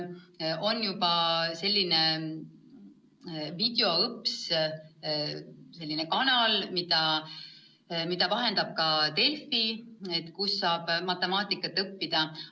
On juba olemas Videoõps – selline kanal, mida vahendab ka Delfi –, kus saab matemaatikat õppida.